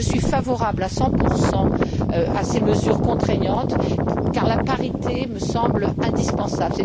Je suis favorable à 100 à ces mesures contraignantes car la parité me semble indispensable.